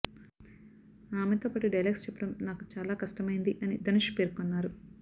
ఆమెతోపాటు dialogues చెప్పడం నాకు చాలా కష్టమైంది అని ధనుష్ పేర్కొన్నారు